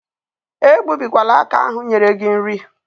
Egbubikwala aka ahụ nyere gị nri.